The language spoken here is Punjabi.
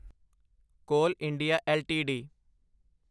ਕੋਲ ਇੰਡੀਆ ਐੱਲਟੀਡੀ